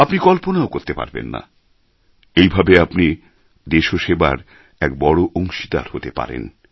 আপনি কল্পনাও করতে পারবেন না এইভাবে আপনি দেশসেবার এক বড় অংশীদার হতে পারেন